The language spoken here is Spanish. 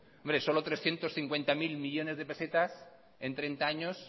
hombre solo trescientos cincuenta mil millónes de pesetas en treinta años